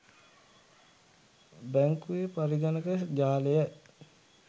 බැංකුවේ පරිගණක ජාලය